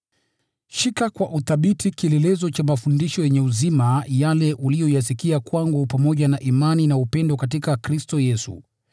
Shika kwa uthabiti kielelezo cha mafundisho yenye uzima yale uliyoyasikia kwangu, pamoja na imani na upendo katika Kristo Yesu.